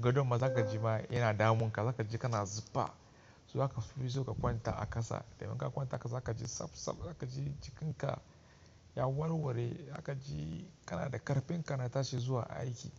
Gado ma za ka ji ma yana damunka, za ka ji kana zufa zaka zo ka fito ka kwanta a ƙasa. Daga ka kwanta haka za ka ji sab sab za ka ji jikinka ya warware, za ka ji kana da ƙarfin kana tashi zuwa aiki.